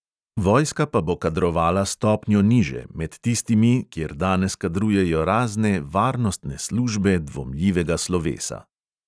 Vojska pa bo kadrovala stopnjo niže, med tistimi, kjer danes kadrujejo razne varnostne službe dvomljivega slovesa.